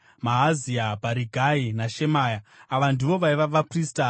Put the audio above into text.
Maazia, Bharigai naShemaya. Ava ndivo vaiva vaprista.